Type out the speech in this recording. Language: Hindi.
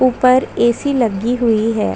ऊपर ए. सी. लगी हुई है।